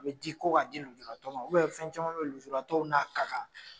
A be ji ko k'a ji lujuratɔw ma ubɛ fɛn caman be ye lujuratɔw n'a ka kan